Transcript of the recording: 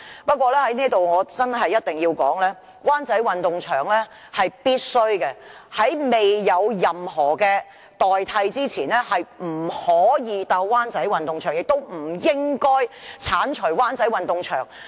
不過，我在這裏一定要說明，灣仔運動場是必須的，在未有任何代替設施前，不能夠觸及灣仔運動場，亦不應該剷除灣仔運動場。